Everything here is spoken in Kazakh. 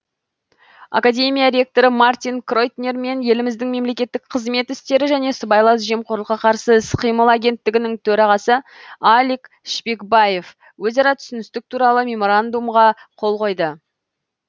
академия ректоры мартин кройтнер мен еліміздің мемлекеттік қызмет істері және сыбайлас жемқорлыққа қарсы іс қимыл агенттігінің төрағасы алик шпекбаев өзара түсіністік туралы меморандумқа қол қойды